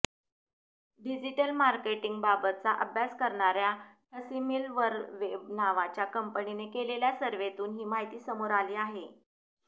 digital मार्केटिंगबाबतचा अभ्यास करणार्या ठसिमिलवरवेब नावाच्या कंपनीने केलेल्या सर्व्हेतून ही माहिती समोर आली आहे